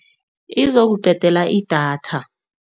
Izokuqedela idatha.